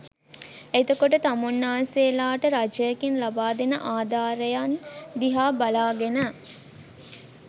එතකොට තමුන්නාන්සේලාට රජයකින් ලබාදෙන ආධාරයන් දිහා බලාගෙන